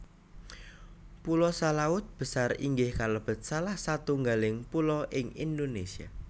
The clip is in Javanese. Pulo Salaut Besar inggih kalebet salah satunggaling pulo ing Indonesia